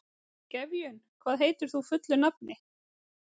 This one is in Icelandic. Gefjun, hvað heitir þú fullu nafni?